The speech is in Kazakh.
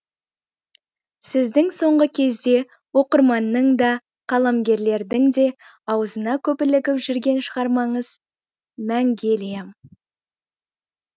сіздің соңғы кезде оқырманның да қаламгерлердің де аузына көп ілігіп жүрген шығармаңыз мәңгелия